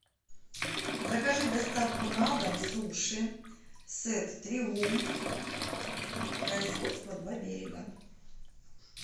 закажи доставку на дом суши сет триумф производства два берега